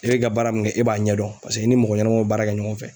E bɛ ka baara min kɛ e b'a ɲɛdɔn paseke e ni mɔgɔ ɲanamaw bɛ baara kɛ ɲɔgɔn fɛ.